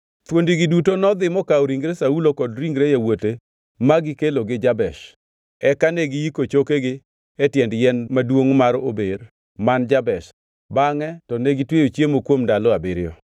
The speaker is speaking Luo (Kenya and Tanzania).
thuondigi duto nodhi mokawo ringre Saulo kod ringre yawuote ma gikelogi Jabesh. Eka ne giyiko chokegi e tiend yien maduongʼ mar ober man Jabesh, bangʼe to negitweyo chiemo kuom ndalo abiriyo.